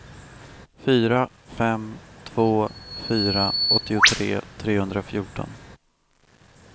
fyra fem två fyra åttiotre trehundrafjorton